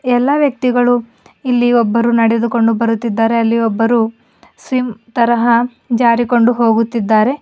ಎಲ್ಲ ವ್ಯಕ್ತಿಗಳು ಇಲ್ಲಿ ಒಬ್ಬರು ನಡೆದುಕೊಂಡು ಬರುತ್ತಿದ್ದಾರೆ ಅಲ್ಲಿ ಒಬ್ಬರು ಸಿಂ ತರಹ ಜಾರಿಕೊಂಡು ಹೋಗುತ್ತಿದ್ದಾರೆ.